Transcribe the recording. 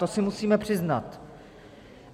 To si musíme přiznat.